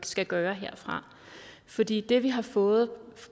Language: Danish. skal gøre herfra fordi det vi har fået